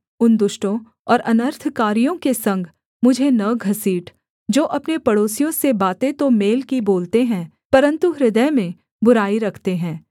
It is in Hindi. उन दुष्टों और अनर्थकारियों के संग मुझे न घसीट जो अपने पड़ोसियों से बातें तो मेल की बोलते हैं परन्तु हृदय में बुराई रखते हैं